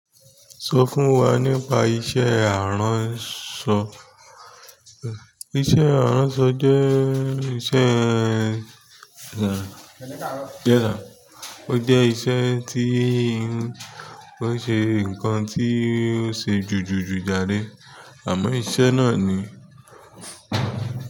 Sọ fún wa nípa iṣẹ́ aránṣọ. Iṣẹ́ aranṣọ jẹ́ iṣẹ́ kàn o jẹ tí o ṣe nkán ti ṣe jujuju jàre àmọ́ iṣẹ́ náà ní.